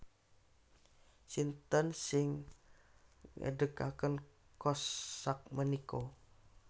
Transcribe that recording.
Sinten sing ngedekaken Kohls sakmenika